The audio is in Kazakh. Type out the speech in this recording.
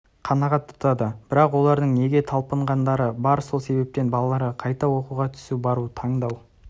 қанағат тұтады бірақ олардың неге талпынатындары бар сол себептен балаларда қайда оқуға түсу бару таңдау